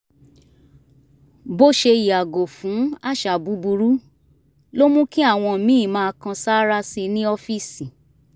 bó ṣe yàgò fún àṣà búburú ló mú kí àwọn míì máa kan sáárá sí i ní ọ́fíìsì